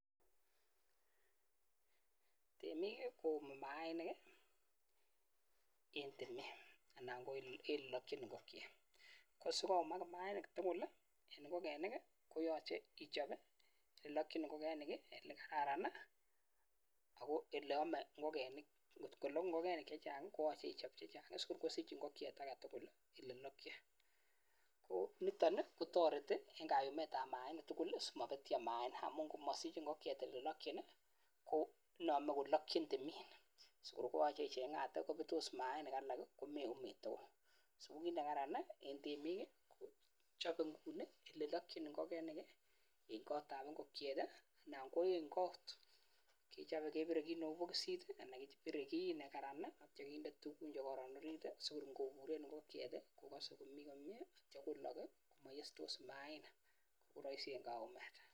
Temik koumi mainik ii en temet anan ko olelokyin ngokiet anan ko ngokenik ko olelokyin ngokenik anan ara ko ole amei ngokenik koyachei kechop kotienkei oletee ngokenik olelokyin ngokiet age tugul nitok kotoreti eng kayumet ab mainik tugul mabetyo mainik amu ngomasich ngokiet olelokyin koname kolakyin tumin koyachei icheng'ate kobetos mainik alak komeumi tugul ko kit nekararan eng temik kokechop olelokyin ngokiet ak kechop olelokyin kepire kii neu bokosit anan olelokyin olekararan simaitkoyesyo mainik